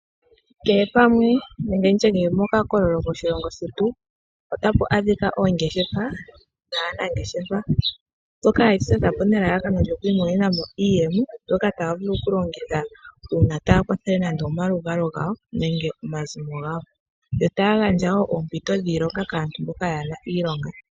Kehe pamwe nenge kehe pokakololo moshilongo shetu otapu adhika oongeshefa dhaanangeshefa ndhoka yedhi totapo nelalakano lyoku imonenamo iiyemo mbyoka taya vulu oku longitha uuna taya kwathela nande omaluvalo gawo nenge omazimo gawo. Ohaya gandja woo oompito dhiilonga kaantu mboka kayena iilonga.